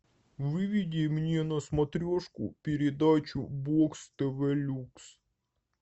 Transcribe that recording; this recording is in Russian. выведи мне на смотрешку передачу бокс тв люкс